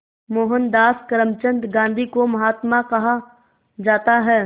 मोहनदास करमचंद गांधी को महात्मा कहा जाता है